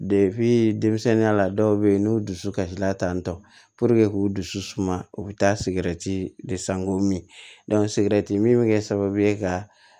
denmisɛnninya la dɔw bɛ yen n'u dusu kasira tantɔ k'u dusu suma u bɛ taa sigɛrɛti de san k'o min sigɛrɛti min bɛ kɛ sababu ye ka